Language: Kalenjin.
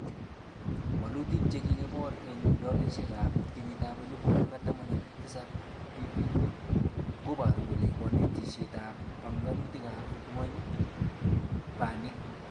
Walutik chekikibor eng dolaishekab 2017 PPP.Koboru kole konetishetab banganutab nywony, banik ab emet